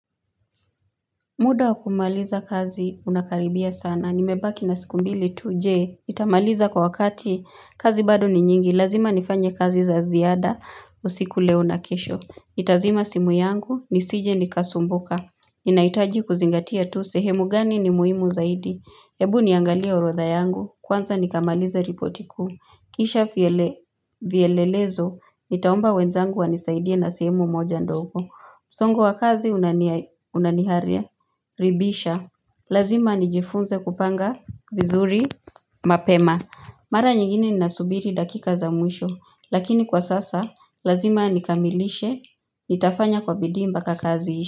Muda wa kumaliza kazi unakaribia sana. Nimebaki na siku mbili tu je. Itamaliza kwa wakati. Kazi bado ni nyingi. Lazima nifanye kazi za ziada. Usiku leo na kesho. Itazima simu yangu. Nisije nikasumbuka. Inaitaji kuzingatia tu. Sehemu gani ni muhimu zaidi. Ebu niangalia urodha yangu. Kwanza nikamaliza ripoti kuu. Kisha viele vielelezo. Nitaomba wenzangu wanisaidia na sehemu moja ndogo. Msongo wa kazi unania unihare ribisha Lazima nijifunze kupanga vizuri mapema Mara nyingine ninasubiri dakika za mwisho lakini kwa sasa lazima nikamilishe nitafanya kwa bidii mpaka kazi iishe.